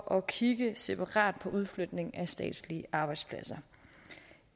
at kigge separat på udflytning af statslige arbejdspladser